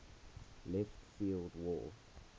left field wall